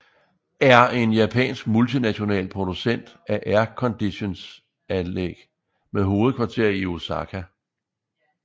er en japansk multinational producent af airconditionanlæg med hovedkvarter i Osaka